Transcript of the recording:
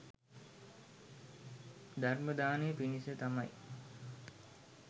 ධර්ම දානය පිණිස තමයි